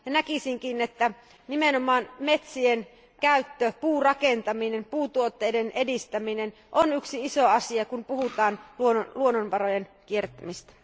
Näkisinkin, että nimenomaan metsien käyttö, puurakentaminen ja puutuotteiden edistäminen on yksi iso asia, kun puhutaan luonnonvarojen kierrättämisestä.